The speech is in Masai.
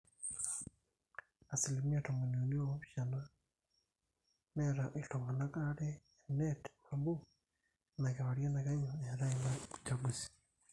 asilimia tomoni uni oopishana neeta iltung'anak aare eneet nabo inakewarie nakenyu eetai ina uchungusi